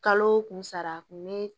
Kalo o kun sara kun bɛ